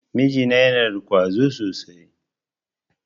Miji na yana da ƙwazo sosai.